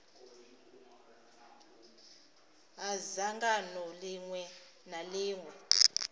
ha dzangano ḽiṅwe na ḽiṅwe